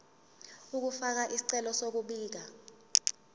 ukufaka isicelo sokubika